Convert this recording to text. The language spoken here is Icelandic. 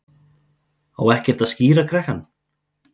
Á ekkert að skíra krakkann?